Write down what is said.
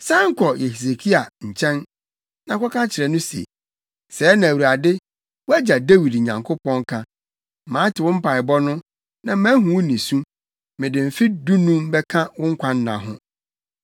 “San kɔ Hesekia nkyɛn, na kɔka kyerɛ no se, ‘Sɛɛ na Awurade, wʼagya Dawid Nyankopɔn, ka: Mate wo mpaebɔ no, na mahu wo nisu. Mede mfe dunum bɛka wo nkwanna ho.